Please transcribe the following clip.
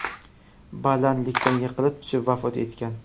balandlikdan yiqilib tushib vafot etgan.